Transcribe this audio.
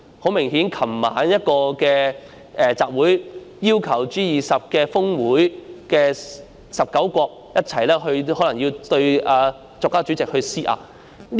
很明顯，在昨晚一個集會上，有示威者要求 G20 峰會19個國家一起對國家主席施壓。